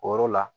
O yɔrɔ la